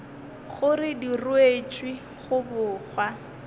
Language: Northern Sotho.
gore di ruetšwe go bogwa